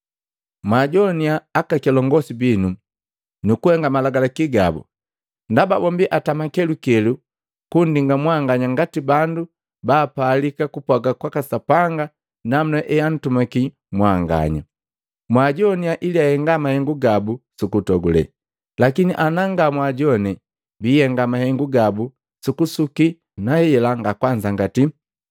Mwaajowaniya aka kilongosi binu nu kuhenga malagalaki gabu; ndaba bombi atama kelukelu kunndima mwanganya ngati bandu baapalika kupwaga kwaka Sapanga namuna heantumaki mwanganya. Mwaajowania ili ahenga mahengu gabu su kutogule, lakini ana nga mwaajowane biihenga mahengu gabu su kusuki na hela nga kwanzangati.